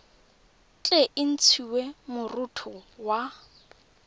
tle e ntshiwe moroto wa